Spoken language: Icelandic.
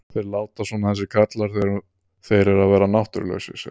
Þeir láta svona þessir karlar þegar þeir eru að verða náttúrulausir, segir hún.